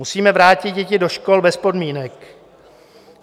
Musíme vrátit děti do škol bez podmínek.